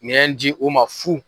Yɛn ji o ma fu.